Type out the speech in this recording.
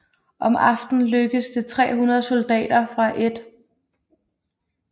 Om aftenen lykkedes det 300 soldater fra 1